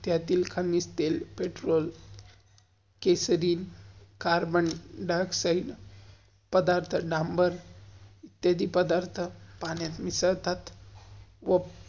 त्यातील खलीज तेल, पेर्त्रोल, केसरील, कार्बन-डाइऑक्साइड, पधार्थ डाम्बर, इत्यादी पधार्थ पाण्यात मिसल्तात.